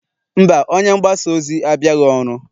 mba, onye mgbasa ozi abịaghị ọrụ